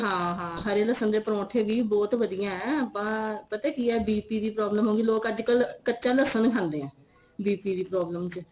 ਹਾਂ ਹਾਂ ਹਰੇ ਲਸਣ ਦੇ ਪਰੋਂਠੇ ਵੀ ਬਹੁਤ ਵਧੀਆ ਆਪਾਂ ਪਤਾ ਕੀ ਏ BP ਦੀ problem ਹੋਗੀ ਲੋਕ ਅੱਜਕਲ ਕੱਚਾ ਲਸ਼ਣ ਖਾਂਦੇ ਏ BP ਦੀ problem ਚ